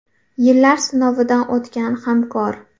Yillar sinovidan o‘tgan hamkor.